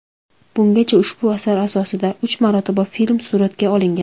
Bungacha ushbu asar asosida uch marotaba film suratga olingan.